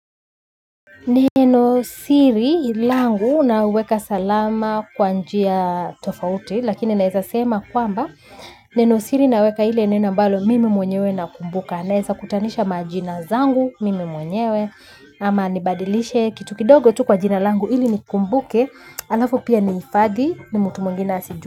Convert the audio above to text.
Neno siri langu naweka salama kwa njia tofauti lakini naeza sema kwamba neno siri naweka ile neno ambalo mimi mwenyewe nakumbuka. Naeza kutanisha majina zangu mimi mwenyewe. Ama nibadilishe kitu kidogo tu kwa jina langu ili nikumbuke. Alafu pia nihifadhi ni mtu mwengine asiju.